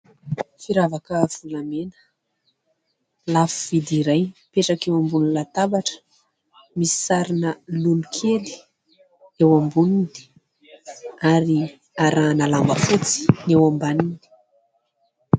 Firavaka volamena lafovidy iray mipetraka eo ambony latabatra. Misy sarina lolo kely eo amboniny ary arahana lamba fotsy ny eo ambaniny.